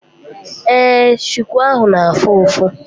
Ee, chuku ahụ na-afụ ụfụ.